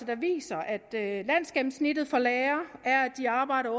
der viser at landsgennemsnittet for lærere er at de arbejder